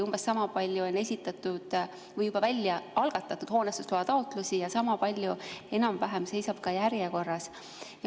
Umbes sama palju on esitatud või juba algatatud hoonestusloa taotlusi ja enam-vähem sama palju seisab ka järjekorras.